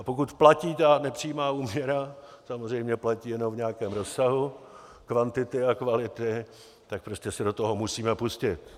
A pokud platí ta nepřímá úměra, samozřejmě platí jenom v nějakém rozsahu kvantity a kvality, tak prostě se do toho musíme pustit.